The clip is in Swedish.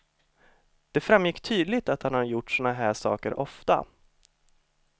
Det framgick tydligt att han hade gjort sådana här saker ofta.